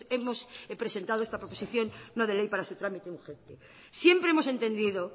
hemos presentado esta proposición no de ley para su trámite urgente siempre hemos entendido